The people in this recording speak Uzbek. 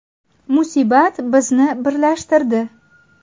Musibat bizni birlashtirdi.